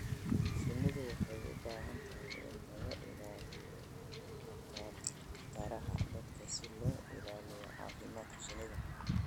Shinnidu waxay u baahan tahay in laga ilaaliyo khataraha dabka si loo ilaaliyo caafimaadka shinnida.